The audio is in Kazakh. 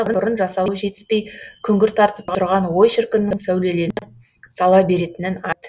бұрын жасауы жетіспей күңгірт тартып тұрған ой шіркіннің сәулеленіп сала беретінін айт